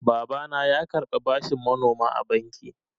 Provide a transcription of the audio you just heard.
Babana ya karɓa bashin manoma a banki.